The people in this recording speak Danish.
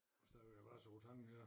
Har stadigvæk adresse på tangen her